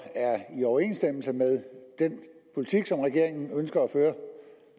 er i overensstemmelse med den politik som regeringen ønsker at føre